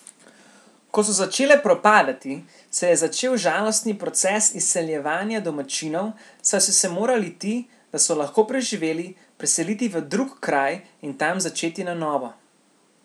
Ko so začele propadati, se je začel žalostni proces izseljevanja domačinov, saj so se morali ti, da so lahko preživeli, preseliti v drug kraj in tam začeti na novo.